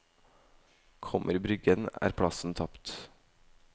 Kommer bryggen, er plassen tapt.